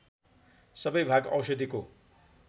सबै भाग औषधिको